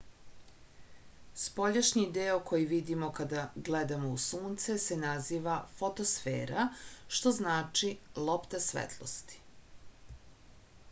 spoljašnji deo koji vidimo kada gledamo u sunce se naziva fotosfera što znači lopta svetlosti